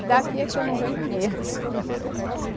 E daqui é que eu não vejo mesmo.